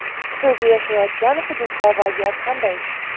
siz yashayotgan hududda vaziyat qanday?.